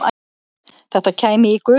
Þetta kæmi í gusum